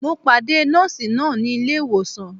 Mo pàdé Nọ́ọ̀sì náà ní ilé ìwòsàn